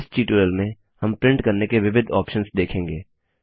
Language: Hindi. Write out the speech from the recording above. इस ट्यूटोरियल में हम प्रिंट करने के विविध ऑप्शंस देखेंगे